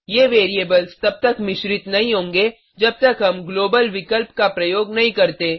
ये वैरिएबल्स तब तक मिश्रित नहीं होंगें जब तक हम ग्लोबल विकल्प का प्रयोग नहीं करते